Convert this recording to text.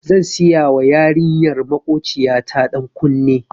Zan siyawa yarinyar makociya ta ɗan kunne.